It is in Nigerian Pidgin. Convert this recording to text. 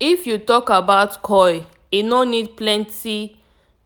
if you talk about coil e no need plenty